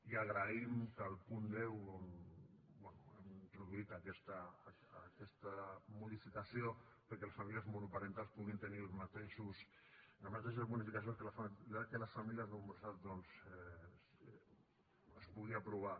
i agraïm que el punt deu on hem introduït aquesta modificació que les famílies monoparentals puguin tenir les mateixes bonificacions que les famílies nombroses doncs es pugui aprovar